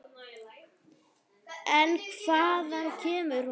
En hvaðan kemur hún?